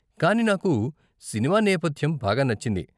కానీ నాకు సినిమా నేపధ్యం బాగా నచ్చింది.